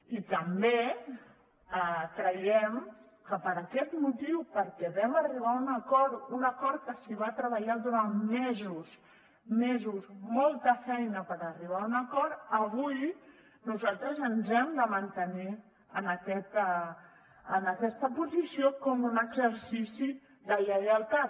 i també creiem que per aquest motiu perquè vam arribar a un acord un acord en què es va treballar durant mesos mesos molta feina per arribar a un acord avui nosaltres ens hem de mantenir en aquesta posició com un exercici de lleialtat